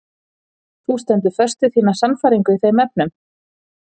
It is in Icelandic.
Þú stendur föst við þína sannfæringu í þeim efnum?